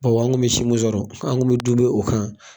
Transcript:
Bon an kun bɛ si mun sɔrɔ an kun be dume o kan